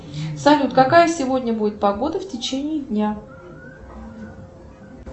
салют какая сегодня будет погода в течении дня